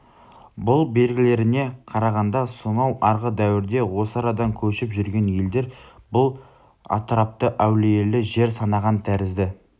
бұл белгілеріне қарағанда сонау арғы дәуірде осы арадан көшіп жүрген елдер бұл атырапты әулиелі жер санаған тәрізді